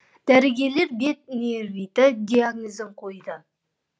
дәрігерлер бет невриті диагнозын қойды